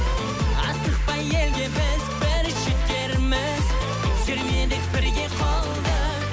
асықпай елге біз бір жетерміз сермелік бірге қолды